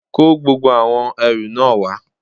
kó gbogbo àwọn ẹrù náà wá